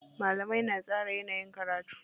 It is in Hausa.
Malamai na tsara yanayin karatu.